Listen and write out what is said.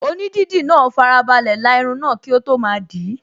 Onídìdí náà farabalẹ̀ la irun náà kí ó tó máa dìí